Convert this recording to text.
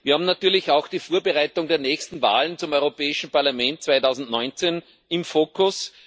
Wir haben natürlich auch die Vorbereitung der nächsten Wahlen zum Europäischen Parlament 2019 im Fokus.